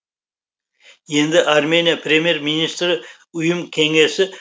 енді армения премьер министрі ұйым кеңесі